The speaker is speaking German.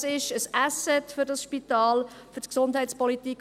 Dies ist ein Asset für das Spital und für die Gesundheitspolitik.